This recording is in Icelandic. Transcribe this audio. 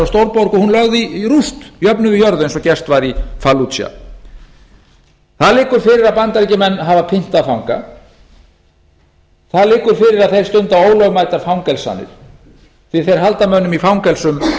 stórborg og hún lögð í rúst jöfnuð við jörðu eins og gert var í falluja það liggur fyrir að bandaríkjamenn hafa pyntað fanga það liggur fyrir að þeir stunda ólögmætar fangelsanir því að þeir halda mönnum í fangelsum